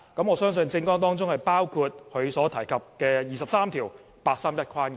我相信政綱當中也包括他所提及的"廿三條"及八三一框架。